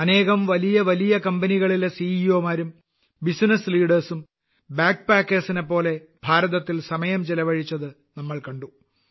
അനേകം വലിയ വലിയ കമ്പനികളിലെ സിഇഒ മാരും ബിസിനസ്സ് ലീഡർസ് ഉം ബാഗ് പാക്കേർസ് നെപ്പോലെ ഭാരത്തിൽ സമയം ചെലവഴിച്ചത് നാം കണ്ടു